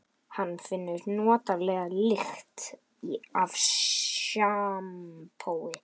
Hann finnur notalega lykt af sjampói.